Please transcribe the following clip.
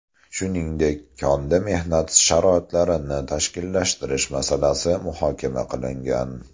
Shuningdek, konda mehnat sharoitlarini tashkillashtirish masalasi muhokama qilingan.